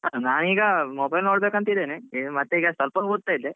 ನಾನ್ ಈಗ mobile ನೋಡ್ಬೇಕು ಅಂತ ಇದೇನೆ. ಮತ್ತೆ ಈಗ ಸ್ವಲ್ಪ ಓದ್ತಾ ಇದ್ದೆ